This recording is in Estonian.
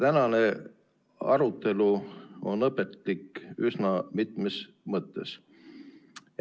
Tänane arutelu on õpetlik üsna mitmes mõttes.